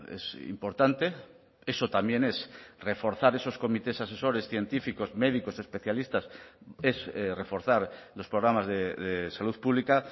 es importante eso también es reforzar esos comités asesores científicos médicos especialistas es reforzar los programas de salud pública